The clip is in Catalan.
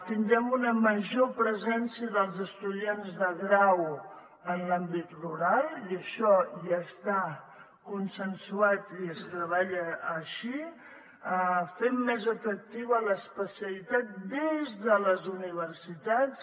tindrem una major presència dels estudiants del grau en l’àmbit rural i això ja està consensuat i es treballa així fent més atractiva l’especialitat des de les universitats